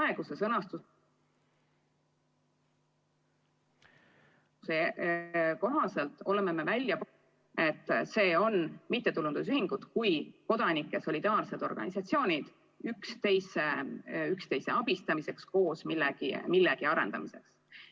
Praeguse sõnastuse ...... kohaselt oleme me välja ......, et see on mittetulundusühingud kui kodanike solidaarsed organisatsioonid üksteise abistamiseks, koos millegi arendamiseks.